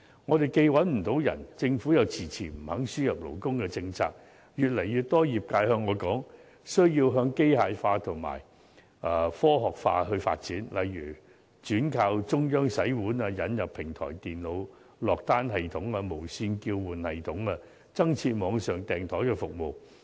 我們既找不到人手，政府卻遲遲不肯放寬輸入勞工政策，越來越多業界對我說需要向機械化和科學化發展，例如轉靠中央洗碗、引入平台電腦落單系統、無線叫喚系統、增設網上訂枱服務等。